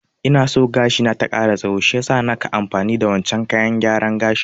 Ina so gashi na ta ƙara tsaho shiyasa naka amfani da wancen kayan gyaran gashin